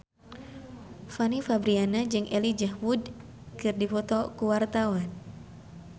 Fanny Fabriana jeung Elijah Wood keur dipoto ku wartawan